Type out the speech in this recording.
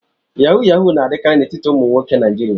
Yahoo yahoo na-adịkarị n'etiti ụmụ nwoke Naijiria.